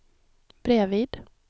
bredvid